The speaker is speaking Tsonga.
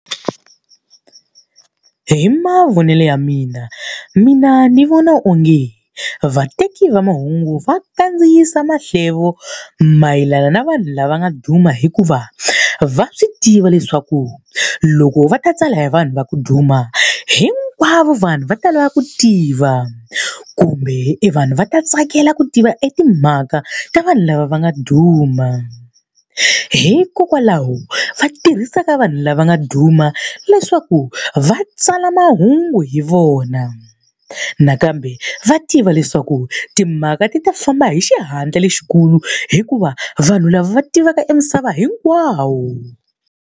Hi mavonelo ya mina mina ni vona onge vateki va mahungu va kandziyisa mahlevo mayelana na vanhu lava nga duma hikuva, va swi tiva leswaku loko va ta tsala hi vanhu va ku duma hinkwavo vanhu va ta lava ku tiva, kumbe evanhu va ta tsakela ku tiva etimhaka ta vanhu lava va nga duma. Hikokwalaho va tirhisa ka va vanhu lava nga duma leswaku va tsala mahungu hi vona. Nakambe va tiva leswaku timhaka ta famba hi xihatla lexikulu hikuva vanhu lava va tiveka e misava hinkwayo.